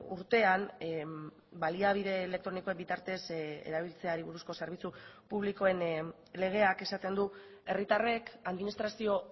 urtean baliabide elektronikoen bitartez erabiltzeari buruzko zerbitzu publikoen legeak esaten du herritarrek administrazio